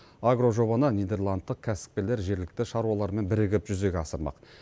агрожобаны нидерландтық кәсіпкерлер жергілікті шаруалармен бірігіп жүзеге асырмақ